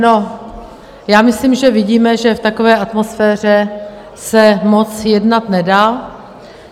No, já myslím, že vidíme, že v takové atmosféře se moc jednat nedá.